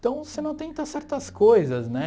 Então, você não tenta certas coisas, né?